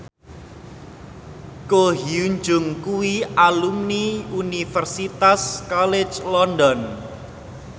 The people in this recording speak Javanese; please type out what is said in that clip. Ko Hyun Jung kuwi alumni Universitas College London